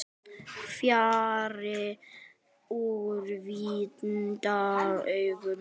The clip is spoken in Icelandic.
Fjarri úrvinda augum.